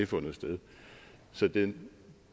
fundet sted så de